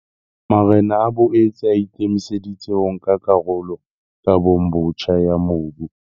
Marena a boetse a ikemise ditse ho nka karolo kabong botjha ya mobu.